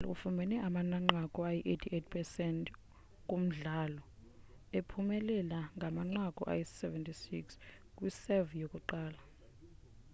unadal ufumene amanqaku ayi-88% kumdlalo ephumelela ngamanqaku ayi-76 kwi-serve yokuqala